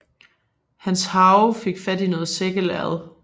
Hans harve fik fat i noget sækkelærred